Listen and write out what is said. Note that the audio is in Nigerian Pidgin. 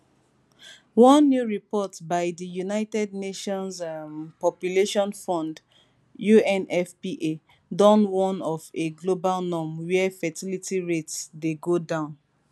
one new report by di united nations um population fund unfpa don warn of a global norm wia fertility rates dey go down